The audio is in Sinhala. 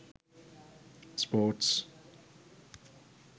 sports